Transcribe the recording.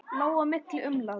Lá á milli og umlaði.